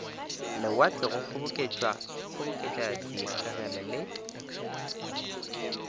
lewatle go kgoboketša dikgegele le